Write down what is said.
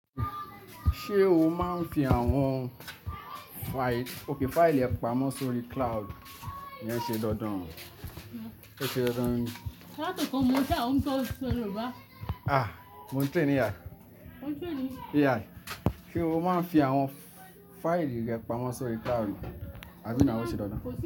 Ṣé o máa ń fi àwọn fáìlì rẹ pamọ́ sórí cloud ni ìyẹn ṣe dandan, ẹ ṣe dandan ni? Látọkọ, mo fẹ́ràn tó sọ Yoruba. Ah! Mo ń train ní a Ó ń train mi. Yàrá. Ṣé o máa ń fi àwọn fáìlì rẹ pamọ́ sórí cloud àbí nau óṣe dandan.